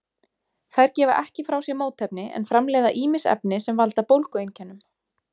Þær gefa ekki frá sér mótefni en framleiða ýmis efni sem valda bólgueinkennum.